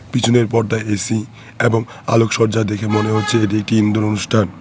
পিছনের পর্দায় এ_সি এবং আলোকসজ্জা দেখে মনে হচ্ছে এটি একটি ইনডোর অনুষ্ঠান।